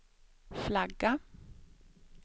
flagga